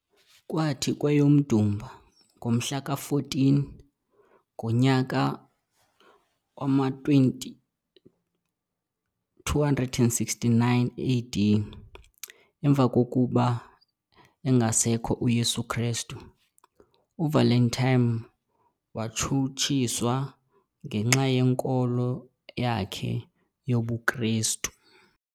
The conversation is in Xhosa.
Kwathi kweyomDumba ngomhla 14, ngomnyaka wama-269 AD, emva kokuba engasekho uYesu Kristu, u-Valentine watshutshiswa ngenxa yenkolo yakhe yobukristu.